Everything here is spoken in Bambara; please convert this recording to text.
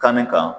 Kanni kan